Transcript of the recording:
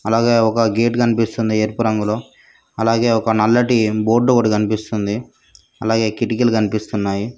అలాగే ఒక గేట్ కనిపిస్తుంది ఎరుపు రంగులో అలాగే ఒక నల్లటి బోర్డు ఒకటి కనిపిస్తుంది అలాగే కిటికీలు కనిపిస్తున్నాయి.